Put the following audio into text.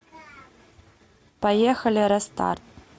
поехали рэ старт